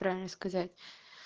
правильно сказать